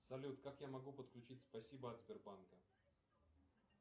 салют как я могу подключить спасибо от сбербанка